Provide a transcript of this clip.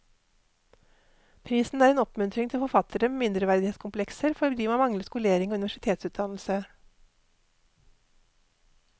Prisen er en oppmuntring til forfattere med mindreverdighetskomplekser fordi man mangler skolering og universitetsutdannelse.